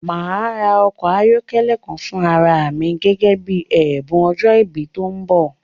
Màá ra ọkọ̀ ayọ́kẹ́lẹ́ kan fún ara à mi gẹ́gẹ́ bí ẹ̀bùn ọjọ́ ìbí mi tí ó ń bọ̀